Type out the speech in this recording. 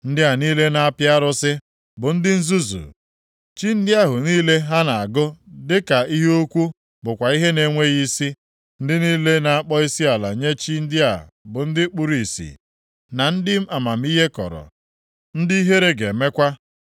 Ndị a niile na-apị arụsị bụ ndị nzuzu. Chi ndị ahụ niile ha na-agụ dị ka ihe ukwu bụkwa ihe na-enweghị isi. Ndị niile na-akpọ isiala nye chi ndị a bụ ndị kpuru ìsì, na ndị amamihe kọrọ, ndị ihere ga-emekwa.